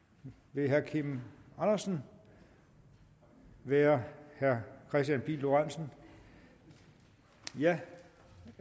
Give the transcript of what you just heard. vil herre kim andersen være herre kristian pihl lorentzen ja